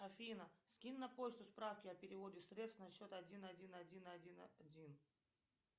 афина скинь на почту справки о переводе средств на счет один один один один один